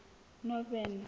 northern